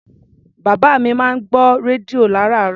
Bàbá mi máa ń gbọ́ rédíò lárààárọ̀.